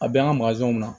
A bɛ an ka bila